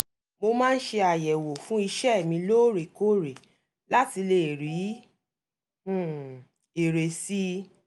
mo máa ń ṣe àyẹ̀wò fún iṣẹ́ mi lóòrèkóòre láti lè rí um èrè sí i